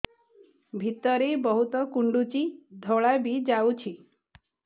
ଭିତରେ ବହୁତ କୁଣ୍ଡୁଚି ଧଳା ବି ଯାଉଛି